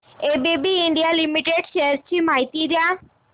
ABB India limited shares ची माहिती द्या